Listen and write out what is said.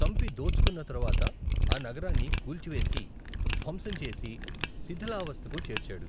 చంపి దోచుకున్న తరువాత ఆ నగరాన్ని కూల్చివేసి, ధ్వంసం చేసి, శిథిలావస్థకు చేర్చాడు.